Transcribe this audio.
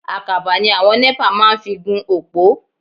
Àkàbà ni àwọn NEPA máa ń fi gún òpó.